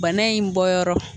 Bana in bɔyɔrɔ